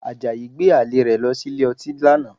Àjàyí gbé àlè rẹ̀ lọ sí ilé ọtí lánàá